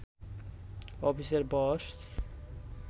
অফিসের বস